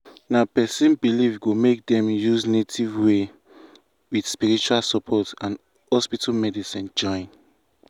na person belief go make dem use native way with spiritual support and hospital medicine join.